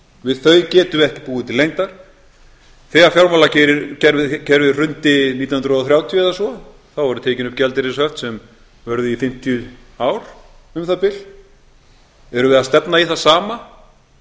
við þau getum við ekki búið til lengdar þegar fjármálakerfið hrundi nítján hundruð og þrjátíu eða svo þá voru tekin upp gjaldeyrishöft sem vörðu í fimmtíu ár um það bil erum við að stefna í það sama